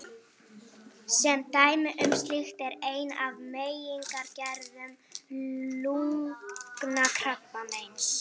Sem dæmi um slíkt er ein af megingerðum lungnakrabbameins.